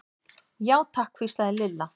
Já, takk hvíslaði Lilla.